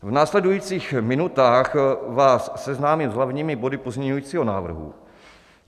V následujících minutách vás seznámím s hlavními body pozměňujícího návrhu.